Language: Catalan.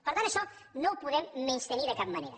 per tant això no ho podem menystenir de cap manera